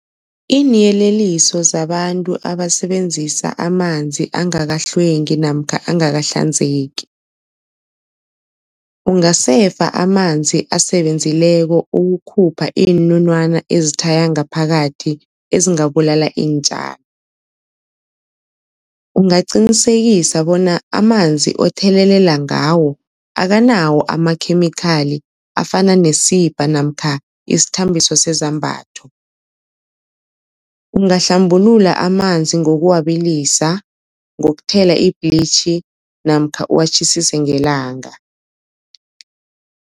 Iinyeleliso zabantu abasebenzisa amanzi angakahlwengi namkha angakahlanzeki. Ungasefa amanzi asebenzileko ukukhupha iinunwana ezithaya ngaphakathi ezingabulala iintjalo. Ungaqinisekisa bona amanzi othelelela ngawo akanawo amakhemikhali afana nesibha namkha isithambiso sezambatho. Ungahlambulula amanzi ngokuwabilisa ngokuthela ibhlitjhi namkha uwatjhisise ngelanga.